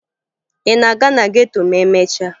Ị na-aga na geto ma emesịa?